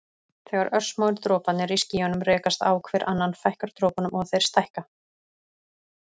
Þegar örsmáir droparnir í skýjunum rekast á hver annan fækkar dropunum og þeir stækka.